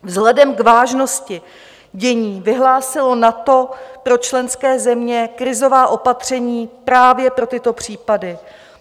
Vzhledem k vážnosti dění vyhlásilo NATO pro členské země krizová opatření právě pro tyto případy.